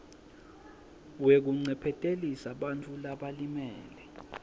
wekuncephetelisa bantfu labalimele